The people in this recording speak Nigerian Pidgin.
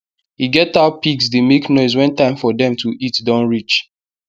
e get how pigs dey make noise wen time for dem to eat don reach